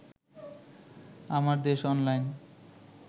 আমার দেশ অনলাইন